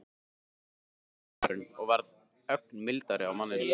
Vinnu? sagði maðurinn og varð ögn mildari á manninn.